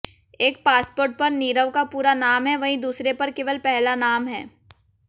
एक पासपोर्ट पर नीरव का पूरा नाम है वहीं दूसरे पर केवल पहला नाम है